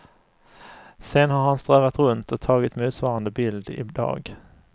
Sedan har han strövat runt och tagit motsvarande bild i dag.